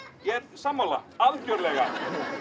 er sammála algjörlega